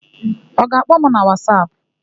Ọ ga-akpọ m na Wasapụ?